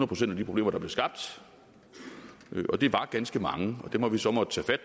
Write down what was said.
procent af de problemer der blev skabt det var ganske mange og dem har vi så måttet tage